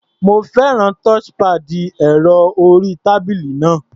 Mo fẹ́ràn touchpad ẹ̀rọ-orí-tábílì náà.